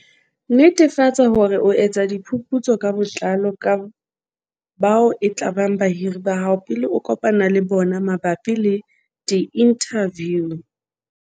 Netefatsa hore o etsa diphuputso ka botlalo ka bao e tlabang bahiri ba hao pele o kopana le bona mabapi le diinthaviu.